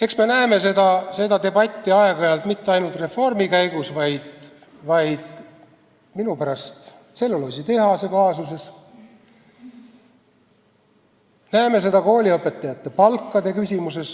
Eks me näeme seda debatti aeg-ajalt, mitte ainult reformi käigus, vaid minu pärast kas või tselluloositehase kaasuses, me näeme seda kooliõpetajate palkade küsimuses,